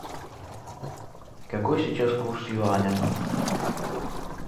какой сейчас курс юаня